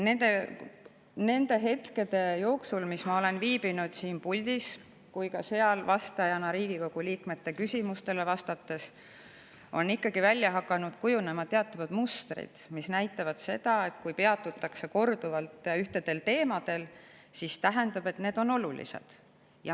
Nende hetkede jooksul, mis ma olen viibinud nii siin puldis kui ka seal, vastates Riigikogu liikmete küsimustele, on ikkagi hakanud välja kujunema teatavad mustrid, mis näitavad, et kui korduvalt peatutakse ühtedel ja samadel teemadel, siis see tähendab, et need on olulised.